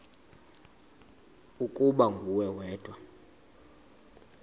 ukuba nguwe wedwa